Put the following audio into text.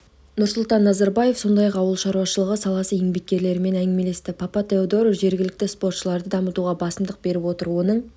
нұрсұлтан назарбаев сондай-ақ ауыл шаруашылығы саласы еңбеккерлерімен әңгімелесті папатеодору жергілікті спортшыларды дамытуға басымдық беріп отыр оның